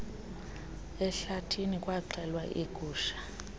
ehlathini kwaxhelwa iigusha